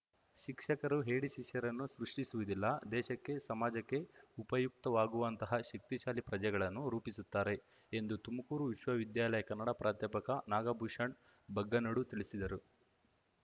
ಶಿಕ್ಷಕರು ಹೇಡಿ ಶಿಷ್ಯರನ್ನು ಸೃಷ್ಠಿಸುವುದಿಲ್ಲ ದೇಶಕ್ಕೆ ಸಮಾಜಕ್ಕೆ ಉಪಯುಕ್ತವಾಗುವಂತಹ ಶಕ್ತಿಶಾಲಿ ಪ್ರಜೆಗಳನ್ನು ರೂಪಿಸುತ್ತಾರೆ ಎಂದು ತುಮುಕೂರು ವಿಶ್ವವಿದ್ಯಾಲಯ ಕನ್ನಡ ಪ್ರಾಧ್ಯಾಪಕ ನಾಗಭೂಷಣ್ ಬಗ್ಗನಡು ತಿಳಿಸಿದರು